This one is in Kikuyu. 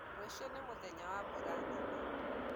Rũciũ nĩ mũthenya wa mbura nene